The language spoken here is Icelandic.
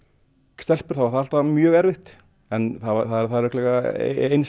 stelpur þá var það alltaf mjög erfitt en það er örugglega eins